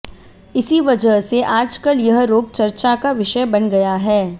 इसी वजह से आजकल यह रोग चर्चा का विषय बन गया है